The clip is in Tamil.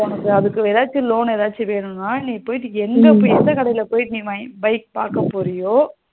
உனக்கு அதுக்கு ஏதாச்சும் loan ஏதாச்சு வேணுமா நீ போயிட்டு எந்த கடையில போய் bike பாக்க போறியோ